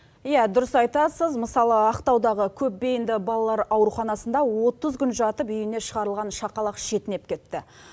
иә дұрыс айтасыз мысалы ақтаудағы көпбейінді балалар ауруханасында отыз күн жатып үйіне шығарылған шақалақ шетінеп кетті